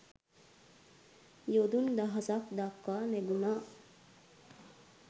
යොදුන් දහසක් දක්වා නැගුණා.